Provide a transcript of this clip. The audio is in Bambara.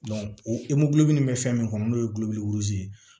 o min bɛ fɛn min kɔnɔ n'o ye ye